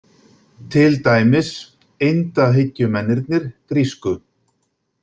Til dæmis eindahyggjumennirnir grísku.